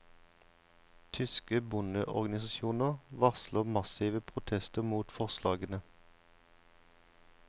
Tyske bondeorganisasjoner varsler massive protester mot forslagene.